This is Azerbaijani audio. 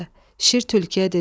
Şir tülküyə dedi: